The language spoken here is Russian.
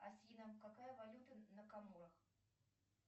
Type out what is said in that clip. афина какая валюта на каморах